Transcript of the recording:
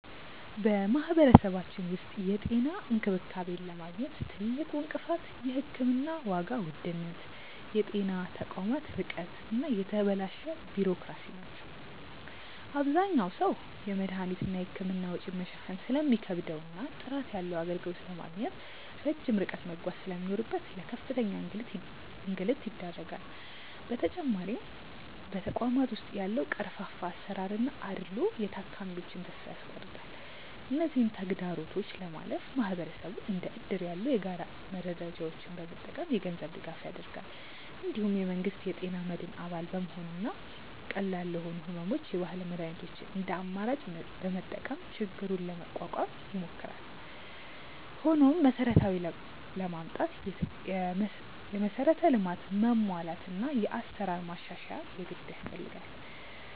በማህበረሰባችን ውስጥ የጤና እንክብካቤን ለማግኘት ትልቁ እንቅፋት የሕክምና ዋጋ ውድነት፣ የጤና ተቋማት ርቀት እና የተበላሸ ቢሮክራሲ ናቸው። አብዛኛው ሰው የመድኃኒትና የሕክምና ወጪን መሸፈን ስለሚከብደውና ጥራት ያለው አገልግሎት ለማግኘት ረጅም ርቀት መጓዝ ስለሚኖርበት ለከፍተኛ እንግልት ይዳረጋል። በተጨማሪም በተቋማት ውስጥ ያለው ቀርፋፋ አሰራርና አድልዎ የታካሚዎችን ተስፋ ያስቆርጣል። እነዚህን ተግዳሮቶች ለማለፍ ማህበረሰቡ እንደ እድር ያሉ የጋራ መረዳጃዎችን በመጠቀም የገንዘብ ድጋፍ ያደርጋል። እንዲሁም የመንግስት የጤና መድን አባል በመሆንና ቀላል ለሆኑ ሕመሞች የባህል መድኃኒቶችን እንደ አማራጭ በመጠቀም ችግሩን ለመቋቋም ይሞክራል። ሆኖም መሰረታዊ ለውጥ ለማምጣት የመሠረተ ልማት መሟላትና የአሰራር ማሻሻያ የግድ ያስፈልጋል።